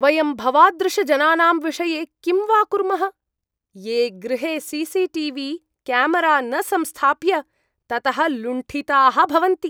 वयं भवादृशजनानां विषये किं वा कुर्मः, ये गृहे C C T V camera न संस्थाप्य, ततः लुण्ठिताः भवन्ति।